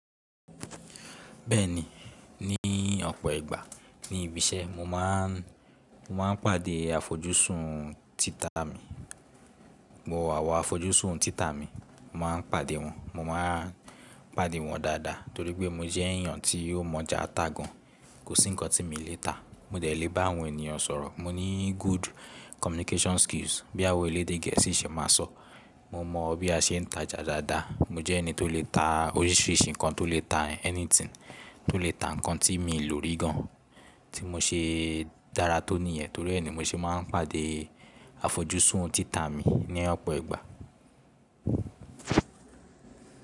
Bẹ́ẹ̀ni, ní ọ̀pọ̀ ìgbà ní ibi iṣẹ́ mo máà n pàdé àfojúsùn títà mi, àwọn àfojúsùn títà mi, mo má n pàdé wọn, mo má n pàdé wọn dáadáa torípé mo jẹ́ èèyàn tí ó mọ̀ọ́jà tá gan, kò sí ńkan tí mi ò lè tà, mo de lè bá àwọn ènìyàn sọ̀rọ̀, mo ní good communication skills bí àwọn elédè gẹ̀ẹ́sì ṣe máa sọ̀, mo mọ bí a se n tajà dáadáa, mo jẹ́ ẹni tó lè tà oríṣìíríṣìí ńkan tó lè tà anything, tó lè tà ńkan tí mi ò lò rí gan tí mo ṣe dára tó níyẹn torí ẹ ni mo ṣe má n pàdé àfojúsùn títà mi ní ọ̀pọ̀ ìgbà.